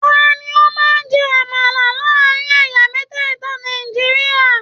Tani o máa n jẹ àmàlà láàrin ẹyà mẹtẹta Nàìjíríà?